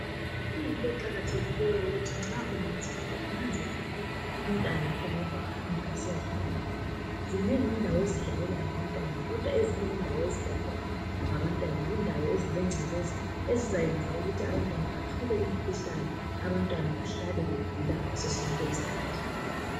kuyinto eqkathekileyo ukuthi nxa ungumzali unanzelele umntanakho lapha ahamba esiyadlalela zinengi ezindawo ezidlalelwa ngabantwana ezinye indawo ezidlalewa khona zincolile ezezayenza ukuthi abantwana bathole umkuhlane abantwana behlale begula ngaso sonke isikhathi